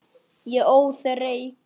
Ég óð reyk.